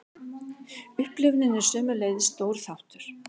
Upplifunin er sömuleiðis stór þáttur.